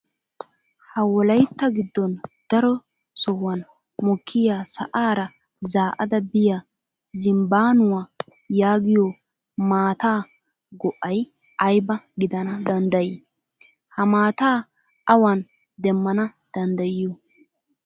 Ha wolayitta giddon daro sohuwaan mokkiyaa sa'aara zaa'ada biyaa zimbbaanuwaa yaagiyoo maata go'ayi ayiba gidana danddayii? Ha maata awan demmana danddayiyoo?